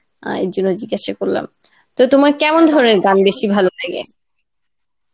আহ এই জন্যে জিজ্ঞাসা করলাম তো তোমার কেমন ধরনের গান বেশি ভালো লাগে?